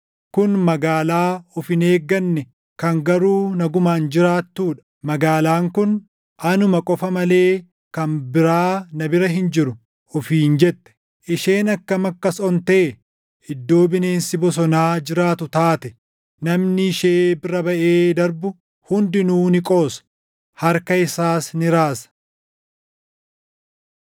Kun magaalaa of hin eegganne kan garuu nagumaan jiraattuu dha. Magaalaan kun, “Anuma qofa malee kan biraa na bira hin jiru” ofiin jette. Isheen akkam akkas ontee, iddoo bineensi bosonaa jiraatu taate! Namni ishee bira baʼee darbu hundinuu ni qoosa; harka isaas ni raasa.